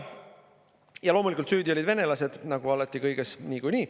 Loomulikult, süüdi olid venelased, nagu alati ja kõiges niikuinii.